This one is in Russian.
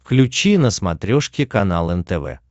включи на смотрешке канал нтв